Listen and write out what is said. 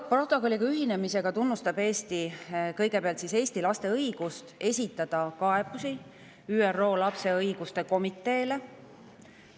Protokolliga ühinemisega tunnustab Eesti kõigepealt Eesti laste õigust esitada kaebusi ÜRO lapse õiguste komiteele.